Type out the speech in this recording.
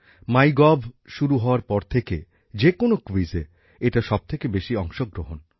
MyGov শুরু হওয়ার পর থেকে যে কোনও ক্যুইজে এটা সবথেকে বেশি অংশগ্রহণ